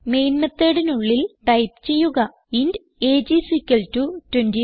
main methodനുള്ളിൽ type ചെയ്യുക int AGE IS equal to 25